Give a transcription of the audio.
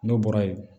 N'o bɔra ye